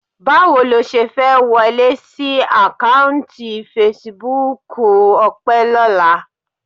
Báwo lo ṣe fẹ́ wọlé sí àkáùntì fesibúùkù Ọpẹ́ lọ́la?